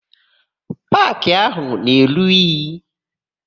Paakị áhù na-eru inyi.